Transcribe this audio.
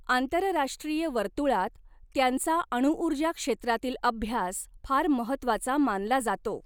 आंतरराष्ट्रीय वर्तुळात त्यांचा अणूऊर्जा क्षेत्रातील अभ्यास फार महत्वाचा मानला जातो.